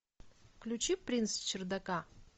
включи принц чердака